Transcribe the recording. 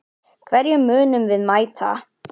Hverjum munum við mæta??